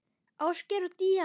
Ásgeir og Díana.